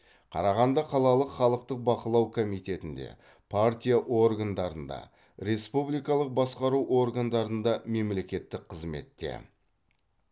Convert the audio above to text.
қарағанды қалалық халықтық бақылау комитетінде партия органдарында республикалық басқару органдарында мемлекеттік қызметте